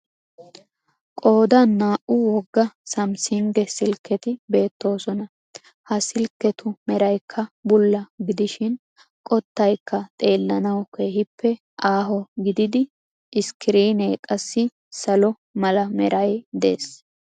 Qoodan naa'u wogga sumsunge silketi beettoosona. Ha silketu meraykka bulla gidishiin qottaykka xeellanawu keehiippe aaho gididi scriinee qassi salo mala meraaa des.